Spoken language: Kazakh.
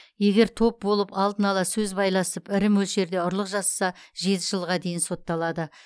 егер топ болып алдын ала сөз байласып ірі мөлшерде ұрлық жасаса жеті жылға дейін сотталады